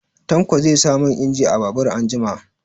Tanko zai sa man injin a babur anjima.